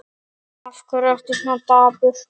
Af hverju ertu svona daufur?